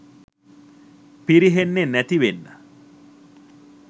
පිරිහෙන්නේ නැති වෙන්න